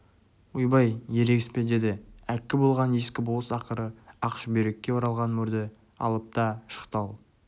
ойбай ерегіспе деді әккі болған ескі болыс ақыры ақ шүберекке оралған мөрді алып та шықты ал